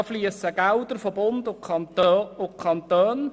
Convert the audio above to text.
Dazu fliessen Gelder von Bund und Kanton.